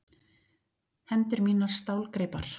Hendur mínar stálgreipar.